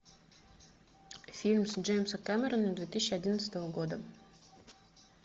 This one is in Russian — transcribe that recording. фильм джеймса кэмерона две тысячи одиннадцатого года